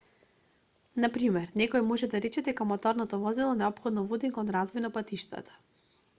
на пример некој може да рече дека моторното возило неопходно води кон развој на патиштата